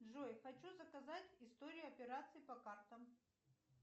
джой хочу заказать история операций по картам